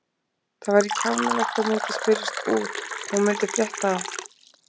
Það væri kjánalegt og myndi spyrjast út, hún myndi frétta það.